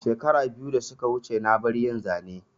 Shekara biyu da suka wuce na bar yin Zane